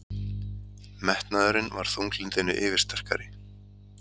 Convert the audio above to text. Metnaðurinn var þunglyndinu yfirsterkari.